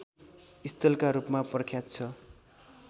स्थलका रूपमा प्रख्यात छ